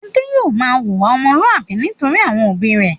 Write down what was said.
Adé yóò máa wùwà ọmọlúwàbí nítorí àwọn òbí rẹ̀.